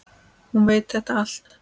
Hún veit þetta allt.